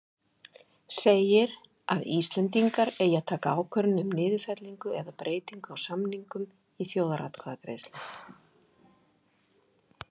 segir, að Íslendingar eigi að taka ákvörðun um niðurfellingu eða breytingu á samningnum í þjóðaratkvæðagreiðslu.